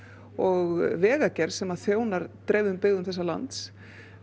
og vegagerð sem þjónar byggðum þessa lands